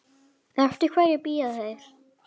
Eftir hverju bíða þeir?